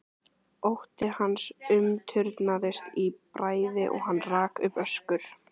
Ótti hans umturnaðist í bræði og hann rak upp öskur.